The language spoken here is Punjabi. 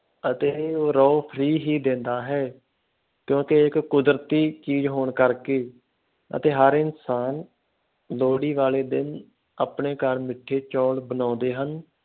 ਅਤੇ ਰੋਹ free ਹੀ ਦਿੰਦਾ ਹੈ ਕਿਉਂਕਿ ਇੱਕ ਕੁਦਰਤੀ ਚੀਜ਼ ਹੋਣ ਕਰਕੇ ਅਤੇ ਹਰ ਇਨਸਾਨ ਲੋਹੜੀ ਵਾਲੇ ਦਿਨ ਆਪਣੇ ਘਰ ਮਿੱਠੇ ਚੋਲ ਬਣਾਉਂਦੇ ਹਨ।